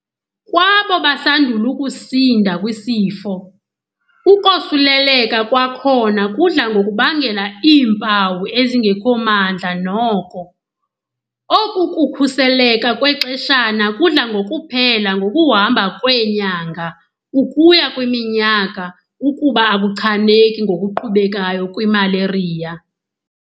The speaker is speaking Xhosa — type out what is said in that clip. Kwabo basandul' ukusinda kwisifo, ukosuleleka kwakhona kudla ngokubangela iimpawu ezingekho mandla noko. Oku kukhuseleka kwexeshana kudla ngokuplhela ngokuhamba kweenyanga ukuya kwiminyaka ukuba akuchanabeki ngokuqhubekayo kwimalariya.